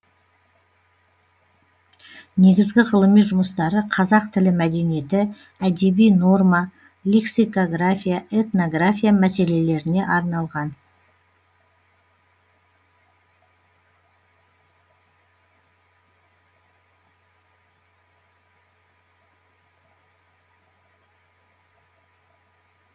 негізгі ғылыми жұмыстары қазақ тілі мәдениеті әдеби норма лексикография этнография мәселелеріне арналған